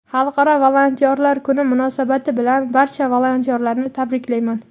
Xalqaro volontyorlar kuni munosabati bilan barcha volontyorlarni tabriklayman.